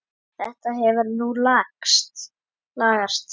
Þetta hefur nú lagast.